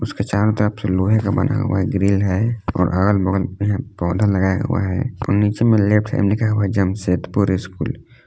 इसके चारों तरफ से लोहे का बना हुआ ग्रिल है और अगल बगल पेड़ पौधा लगाया हुआ है और नीचे में लेफ्ट में लिखा हुआ है जमशेदपुर स्कूल ।